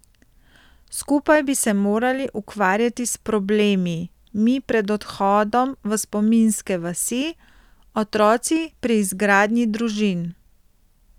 Skupaj bi se morali ukvarjati s problemi, mi pred odhodom v spominske vasi, otroci pri izgradnji družin.